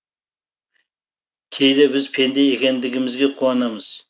кейде біз пенде екендігімізге қуанамыз